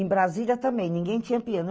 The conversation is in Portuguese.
Em Brasília também, ninguém tinha piano.